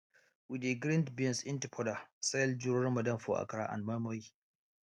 we dey grind beans into powder sell during ramadan for akara and moinmoin